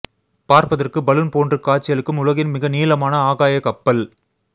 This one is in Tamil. பார்ப்பதற்கு பலூன் போன்று காட்சியளிக்கும் உலகின் மிக நீளமான ஆகாய கப்பல்